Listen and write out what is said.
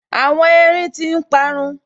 Àwọn erin tí n parun